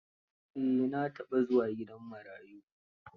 Eh, na taɓa zuwa gidan marayu.